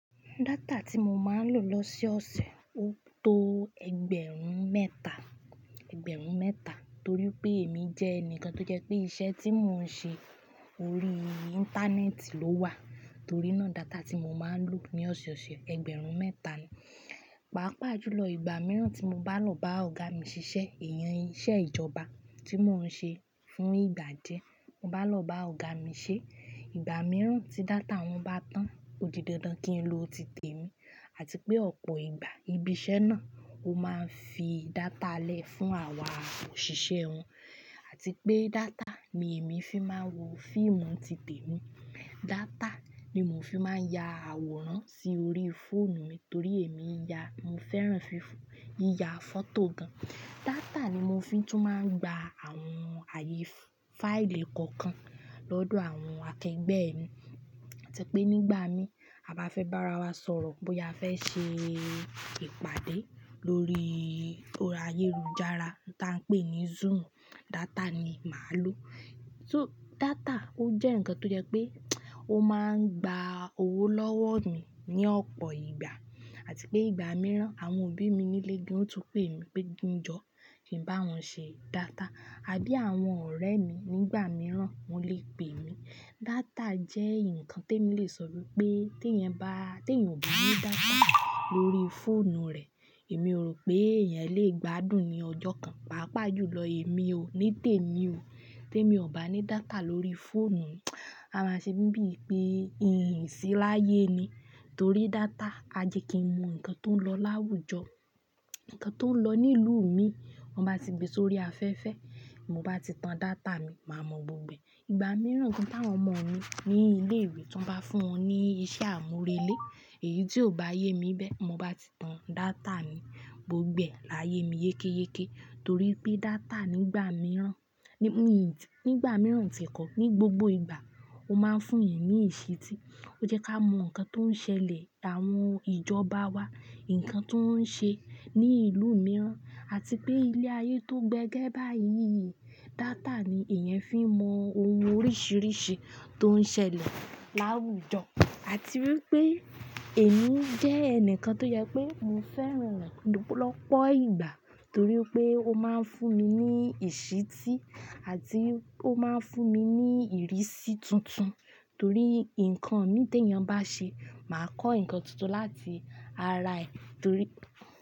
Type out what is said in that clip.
Data tí mo máa ń lo lòsoọ̀sẹ̀, ó tó ẹgbẹ̀rún mẹ́ta, ẹgbẹ̀rún mẹ́ta. Torí pé èmi jẹ́ ẹnìkan tó jẹ́ pé iṣẹ́ tí mò ń ṣe ori íńtánẹ́ẹ̀tì ló wà. Torí nàa data tí mo máa ń lò ní ọ̀sẹ̀ẹ̀ ọ̀sẹ̀ ẹgbẹ̀rún mẹ́ta ni. Pàápàá jùlọ ìgbà mìíràn tí mo bá lọ bá ọ̀gá mi ṣiṣẹ́, ẹ̀yàn iṣẹ́ ìjọba tí mò ń ṣe fún ìgbà díẹ̀. Mo bá lọ bá ọ̀gá mi ṣé, ìgbà mìíràn tí data wọn bá tán, ó di dandan kí n lo titè mi. Àti pé ọ̀pọ̀ ìgbà ibi iṣẹ́ náà ó máa ń fi data lẹ́ fún àwa òṣìṣẹ́ wọn. Àti pé data ni èmi fi máa ń wo fíìmù titè mi. Data ni mo fi máa ń ya àwòrán sí orí fóònù mi torí èmi ya-- mo fẹ́ràn fi yiya fọ́tò gan. Data ni mo fi tún máa ń gba àwọn àyè fáìlì kọ̀ọ̀kan lọ́dọ̀ àwọn akẹgbẹ́ mi. Àti pé nígbà mi à bá fẹ́ bá ara wa sọ̀rọ̀ bóya a fẹ́ ṣe ìpàdé lórí orí ayélujára tó máa ń pè ní Zoom, data ni màá lò. So data ó jẹ́ ǹnkan tó jẹ́ pé ó máa ń gba owó lọ́wọ́ mi ní ọ̀pọ̀ ìgbà. Àti pé ìgbà mìíràn àwọn òbí mi nílé gan ó tún pè mí pé, "Kin jọ, kí ń bá wọn ṣe data." Abí àwọn ọ̀rẹ́ mi nígbà mìíràn wọn lè pè mí. Data jẹ́ ǹkan tí èmi lè sọ wípé tí èèyàn bá, tí èèyàn ò bá ní data lórí fóònù rẹ̀, èmi ò rò pé èèyàn lè gbádùn ní ọjọ́ kan. Pàápàá jùlọ èmi ò ní tèmi ò, tí èmi ò bá ní data lórí fóònù mi. A máa ṣe bíi pé n sí láyé ni. Torí data, a jẹ́ kí n mọ ǹkan tó ń lọ láwùjọ, ǹkan tó ń lọ ní ìlú mi, mo bá ti gbé sórí afẹ́fẹ́, mo bá ti tan data mi, màá mọ gbogbo ẹ̀. Ìgbà mìíràn gan tàwọn ọmọ mi ní ilé ìwé tí wọ́n bá fún wọn ní iṣẹ́ àmúrelé, èyí tí ò bá yé mi bẹ́ẹ̀, mo bá ti tan data mi, gbogbo ẹ̀ láyé mi yékéyéké. Torí pé data nígbà mìíràn, nígbà mìíràn ti ẹ̀ kọ́, ní gbogbo ìgbà ó máa ń fún èèyàn ní ìṣítí. Ó jẹ́ ká mọ ǹkan tó ń ṣẹlẹ̀, àwọn ìjọba wa, ǹkan tó ń ṣe ní ìlú mìíràn, àti pé ilé ayé tó gbẹ́gẹ́ báyìí, data ni èèyàn fi mọ ohun oríṣìíríṣìí tó ń ṣẹlẹ̀ láwùjọ. Àti wípé èmi jẹ́ ẹnìkan tó jẹ pé mo fẹ́ràn rẹ̀ lọ́pọ̀lọ́pọ̀ ìgbà. Torí pé ó máa ń fún mi ní ìṣítí àti ó máa ń fún mi ní ìrísí tuntun. Torí ǹkan mí tí èèyàn bá ṣe, màá kọ́ ǹkan tuntun láti ara ẹ̀. Torí.